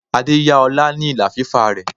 Adé yá ọlá ni ìlà fífà rẹ.